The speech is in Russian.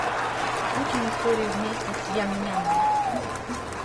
учим историю вместе с ям нямом